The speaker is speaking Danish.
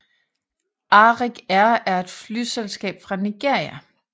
Arik Air er et flyselskab fra Nigeria